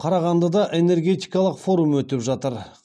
қарағандыда энергетикалық форум өтіп жатыр